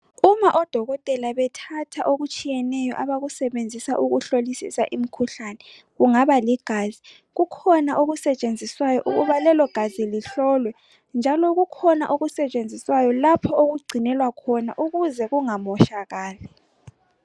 uma odokotela bethatha okutshiyeneyo abakusebenza uhlolisisa imkhuhlane kungaba ligazi kukhona okusetshenziswayo ukuba lelogazi lihlolwe njalo kukhona okusetshenzawayo lapho okugcinelwa khona ukuze kunga moshakali